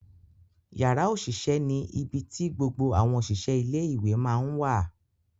Yara osise ni ibi ti gbogbo awọn oṣiṣẹ ile iwe ma ǹ wa.